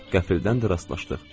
Qəfildən də rastlaşdıq.